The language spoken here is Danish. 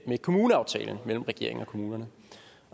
kommuneaftalen mellem regeringen og kommunerne